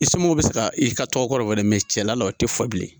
I somoow bɛ se ka i ka tɔgɔ kɔrɔ wele cɛla la o tɛ fɔ bilen.